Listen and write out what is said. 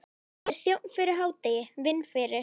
Ég er þjónn fyrir hádegi, vinn fyrir